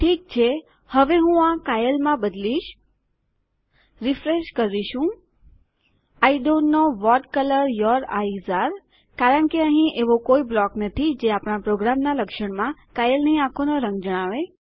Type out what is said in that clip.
ઠીક છે હવે હું આ કાયલીમાં બદલીશરીફ્રેશ કરીશુંI don't know what colour your eyes અરે કારણ કે અહીં એવો કોઈ બ્લોક નથી જે આપણા પ્રોગ્રામના લક્ષણમાં કાયલીની આંખોનો રંગ જણાવે